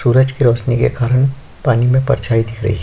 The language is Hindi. सूरज के रौशनी के कारन पानी में परछाई दिख रही है।